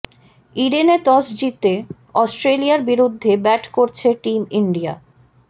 ইডেনে টস জিতে অস্ট্রেলিয়ার বিরুদ্ধে ব্যাট করছে টিম ইন্ডিয়া